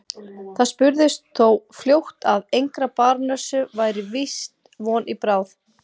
Það spurðist þó fljótt að engrar barónessu væri víst von í bráð.